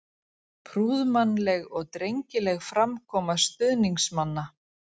Prúðmannleg og drengileg framkoma stuðningsmanna.